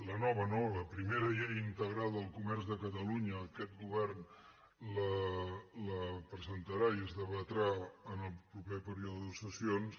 la nova no la primera llei integral del comerç de catalunya aquest govern la presentarà i es debatrà en el proper període de sessions